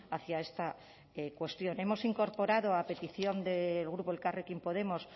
hacia esta cuestión hemos incorporado a petición del grupo elkarrekin podemos